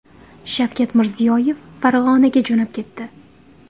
Shavkat Mirziyoyev Farg‘onaga jo‘nab ketdi.